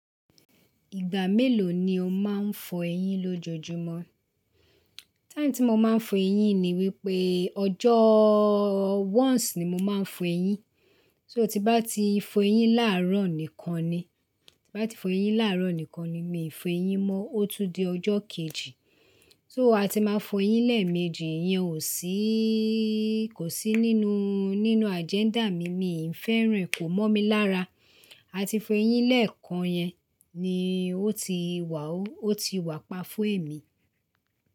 Ìgbà mélòó ni o máa ń fọ ẹyín lójoojúmọ́? Táím tí mo máa ń fọ eyín ni wípé ọjọ́ once ni mo máa ń fọ ẹyín. So tí bá ti fọ eyín láàárọ̀ nìkan ni, tí bá ti fọ eyín láàárọ̀ nìkan ni, mi ì fọ ẹyín mọ́. Ó tún di ọjọ́ kejì. So a ti máa fọ ẹyín lẹ́ẹ̀mejì ìyẹn ò síí, kò sí nínú, nínú agenda mi, mi ì fẹ́ràn ẹ̀, kò mọ̀ mí lára. A ti fọ eyín lẹ́ẹ̀kan yẹn ni ó ti wà ó, ó ti wà pa fún èmi.